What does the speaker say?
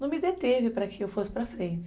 Não me deteve para que eu fosse para frente.